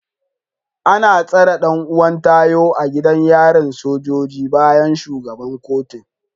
An tsare dan’uwan Tayo a gidan yarin sojoji bayan shugaban kotun